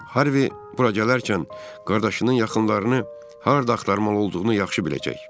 Harvi bura gələrkən qardaşının yaxınlarını harda axtarmalı olduğunu yaxşı biləcək.